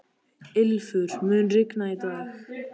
Ylfur, mun rigna í dag?